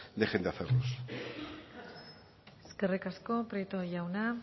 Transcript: dejen de hacerlos eskerrik asko prieto jauna